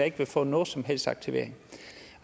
ikke vil få nogen som helst aktivering